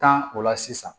Tan o la sisan